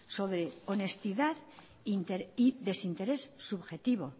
sobre honestidad y desinterés subjetivo